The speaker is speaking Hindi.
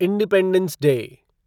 independence day